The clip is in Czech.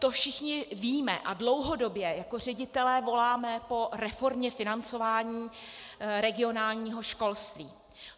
To všichni víme a dlouhodobě jako ředitelé voláme po reformě financování regionálního školství.